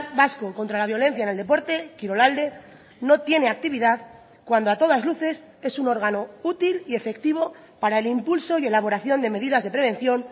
vasco contra la violencia en el deporte kirolalde no tiene actividad cuando a todas luces es un órgano útil y efectivo para el impulso y elaboración de medidas de prevención